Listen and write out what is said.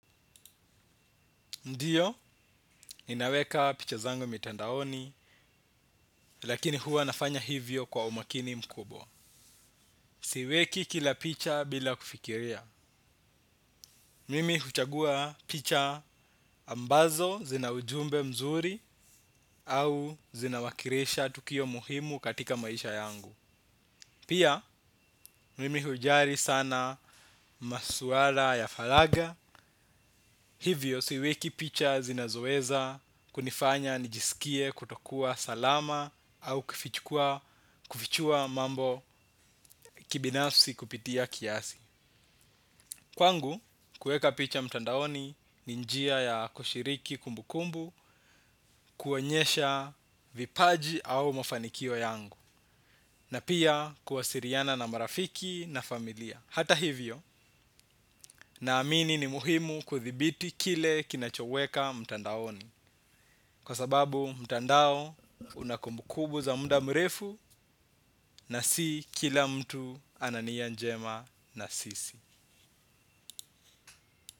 Ndiyo, ninaweka picha zangu mitandaoni, lakini huwa nafanya hivyo kwa umakini mkubwa. Siweki kila picha bila kufikiria. Mimi huchagua picha ambazo zina ujumbe mzuri au zina wakirisha tukio muhimu katika maisha yangu. Pia, mimi hujali sana masuala ya falaga. Hivyo siweki picha zinazo weza kunifanya nijisikie kutokua salama au kufichua mambo kibinasfi kupitia kiasi. Kwangu, kueka picha mtandaoni ni njia ya kushiriki kumbu kumbu kuonyesha vipaji au mafanikio yangu. Na pia kuwasiliana na marafiki na familia. Hata hivyo, na amini ni muhimu kuthibiti kile kinachoweka mtandaoni. Kwa sababu mtandao unakumbu kumbu za muda mrefu na si kila mtu anania njema na sisi.